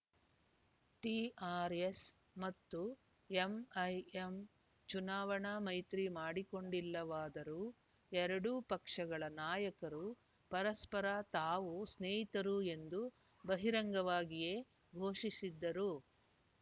TRS ಮತ್ತು MIM ಚುನಾವಣಾ ಮೈತ್ರಿ ಮಾಡಿಕೊಂಡಿಲ್ಲವಾದರೂ ಎರಡೂ ಪಕ್ಷಗಳ ನಾಯಕರು ಪರಸ್ಪರ ತಾವು ಸ್ನೇಹಿತರು ಎಂದು ಬಹಿರಂಗವಾಗಿಯೇ ಘೋಷಿಸಿದ್ದರು